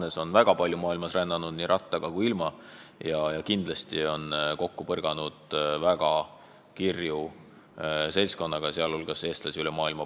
Hannes on väga palju maailmas rännanud, nii rattaga kui ilma, ja kindlasti kokku puutunud väga kirju seltskonnaga, sh eestlastega üle maailma.